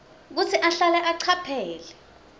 kutsi ahlale acaphele